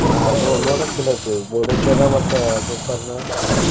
ಹ್ಮ್ ನೋಡೋಕ್ ಚೊಲೋ ಐತ್ರಿ Murdeshwar ಮತ್ತ Gokarna .